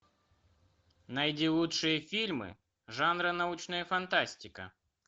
найди лучшие фильмы жанра научная фантастика